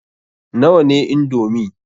Nawa ne indomi?